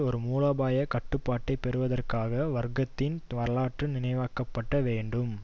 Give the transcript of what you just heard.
ஒரு மூலோபாய கட்டுப்பாட்டை பெறுவதற்காக வர்க்கத்தின் வரலாற்று நினைவாக்கப்பட வேண்டும்